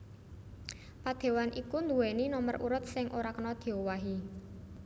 Padéwan iku nduwèni nomer urut sing ora kena diowahi